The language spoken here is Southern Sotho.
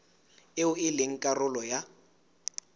eo e leng karolo ya